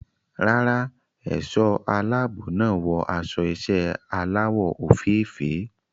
Rárá, ẹ̀ṣọ́ aláàbò náà wọ aṣọ iṣẹ́ aláwọ̀ òfeèfèé.